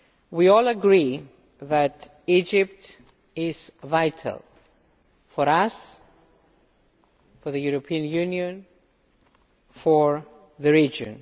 We all agree that Egypt is vital for us, for the European Union, for the region.